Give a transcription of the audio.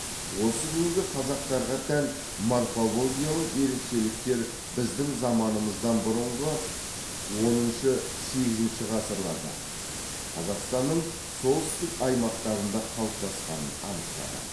осы күнгі қазақтарға тән морфологиялық ерекшеліктер біздің заманымыздан бұрынғы оныншы сегізінші ғасырларда қазақстанның солтүстік аймақтарында қалыптасқанын анықтады